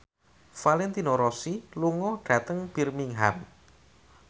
Valentino Rossi lunga dhateng Birmingham